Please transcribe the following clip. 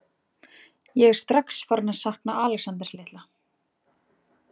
Ég er strax farin að sakna Alexanders litla.